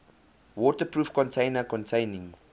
waterproof container containing